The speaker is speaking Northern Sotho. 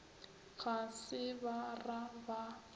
ga se ba ra ba